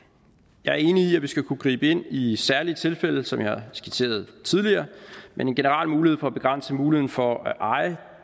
jeg er enig i at vi skal kunne gribe ind i særlige tilfælde som jeg har skitseret tidligere men en generel mulighed for at begrænse muligheden for at eje